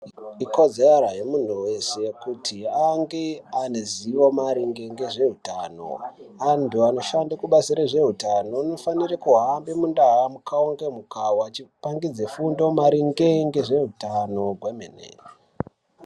ikodzara yemuntu wese kuti ange ane zivo maringe ngezve utano antu anoshanda kubazi rezveutano anofanira kuhamba mundahamukawa ngemukawa vachipangidze fundo maringe nezveutano kwemene